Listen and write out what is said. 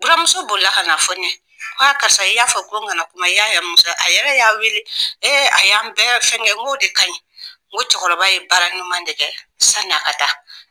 Buramuso boli la ka n'a fɔ ne ye karisa, i y'a fɔ ko n klana kuma, a yɛrɛ y'an wele a y'an bɛɛ fɛn kɛ, n k'o de ka ɲin, cɛkɔrɔba ye baara ɲuman ɲuman de kɛ sani a ka taa.